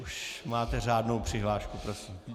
Už máte řádnou přihlášku, prosím.